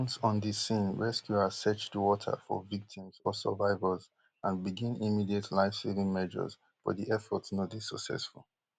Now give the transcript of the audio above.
once on di scene rescuers search di water for victims or survivors and begin immediate lifesaving measures but di efforts no dey successful